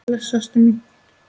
Bless ástin mín.